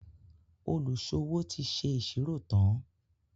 oluṣowo tí ṣe iṣiro tán.